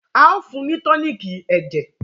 ao fún ni toniiki ẹjẹ.